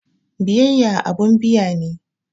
Biyayya abun biya ne.